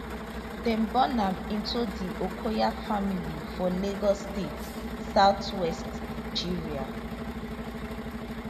dem born am into di okoya family for lagos state southwest nigeria